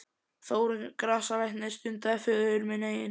Þórunn grasalæknir stundaði föður minn einnig.